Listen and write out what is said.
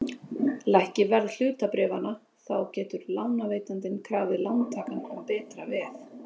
Lækki verð hlutabréfanna þá getur lánveitandinn krafið lántakann um betra veð.